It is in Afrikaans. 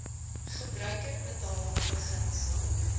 gebruiker betaal beginsel